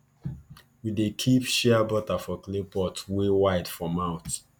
we dey keep shea butter for clay pot wey wide for mouth